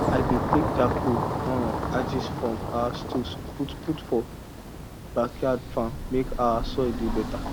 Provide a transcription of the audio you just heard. i dey take charcoal um ashes from our stove put put for backyard farm mek our soil dey better